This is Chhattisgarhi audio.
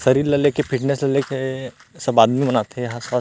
शरीर ल लेके फिटनेस ल लेके सब आदमी मन आथे यहाँ स्वस्थ--